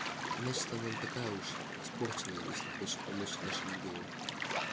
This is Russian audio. значит она не такая уж испорченная если хочет помочь нашему делу